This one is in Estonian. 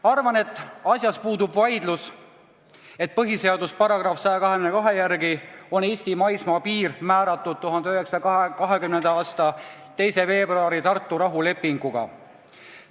Arvan, et asjas puudub vaidlus: põhiseaduse § 122 järgi on Eesti maismaapiir määratud 1920. aasta 2. veebruari Tartu rahulepinguga.